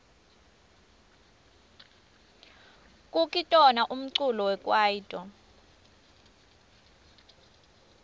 kukitona umculo wekwaito